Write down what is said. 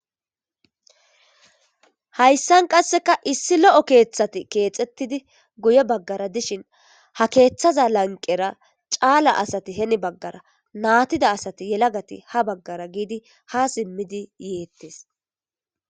hayssan qasseka issi lo7o keeththati keexettidi guye baggara dishin ha keeththaza lanqera caala asati heni baggara naatida asati yelagati ha baggara giidi ha simmidi yeettes